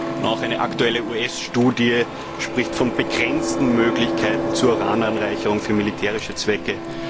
Und auch eine aktuelle US Studie spricht von begrenzten Möglichkeiten zur Urananreicherung für militärische Zwecke.